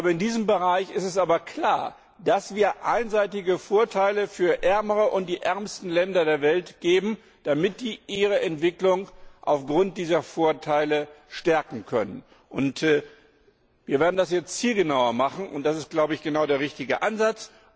In diesem Bereich ist es aber klar, dass wir einseitige Vorteile für die ärmeren und die ärmsten Länder der Welt geben, damit diese ihre Entwicklung aufgrund dieser Vorteile stärken können. Wir werden das jetzt zielgenauer machen, und das ist genau der richtige Ansatz.